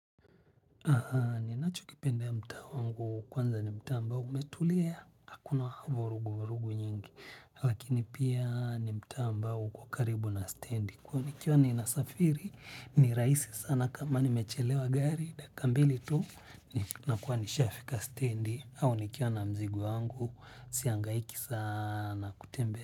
Ninacho kipendea ya mtaa wangu kwanza ni mtaa ambao umetulia hakuna vurugu vurugu nyingi. Lakini pia ni mtaa ambao kwa karibu na standi kuwa nikiwa ninasafiri ni rahisi sana kama nimechelewa gari dakia mbili tu. Nakuwa nishafika standi au nikiwa na mzigo wangu sihangaiki sana kutembea.